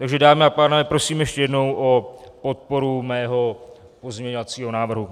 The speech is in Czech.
Takže dámy a pánové, prosím ještě jednou o podporu mého pozměňovacího návrhu.